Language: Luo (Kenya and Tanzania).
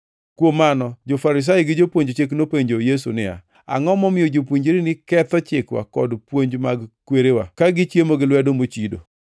Kuom mano jo-Farisai gi jopuonj chik nopenjo Yesu niya, “Angʼo momiyo jopuonjreni ketho chikwa kod puonj mag kwerewa, ka gichiemo gi lwedo mochido?”